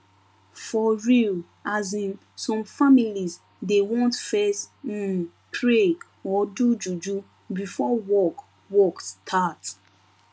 for real asin some families dey want fess um pray or do juju before work work start